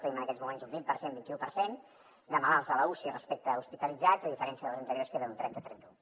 tenim en aquests moments un vint per cent vint i u per cent de malalts a l’uci respecte a hospitalitzats a diferència de les anteriors que era un trenta trenta u